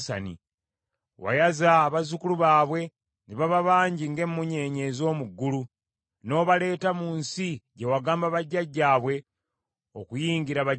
Wayaza abazzukulu baabwe ne baba bangi ng’emmunyeenye ez’omu ggulu, n’obaleeta mu nsi gye wagamba bajjajjaabwe okuyingira bagirye.